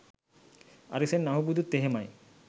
අරිසෙන් අහුබුදුත් එහෙමයි